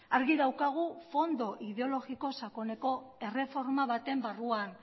argi daukagu fondo ideologiko sakoneko erreforma baten barruan